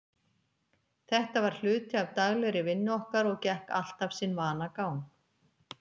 Þetta var hluti af daglegri vinnu okkar og gekk alltaf sinn vanagang.